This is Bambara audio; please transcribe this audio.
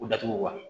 U datugu wa